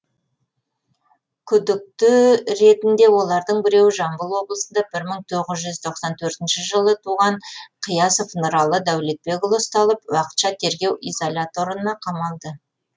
күдікті ретінде олардың біреуі жамбыл облысында бір мың тоғыз жүз тоқсан төртінші жылы туылған қиясов нұралы дәулетбекұлы ұсталып уақытша тергеу изоляторына қамалды